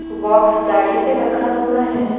Box गाड़ी पे रखा हुआ है।